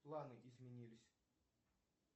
планы изменились